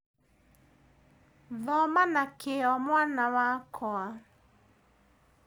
Thoma na kĩo mwana wakwa